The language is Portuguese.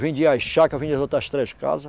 Vendi as chácaras, vendi as outras três casas.